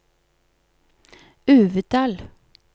Uvdal